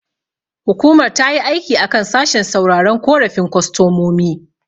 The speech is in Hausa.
Hukumar tayi aiki a kan sashen sauraron korafin kostomomi.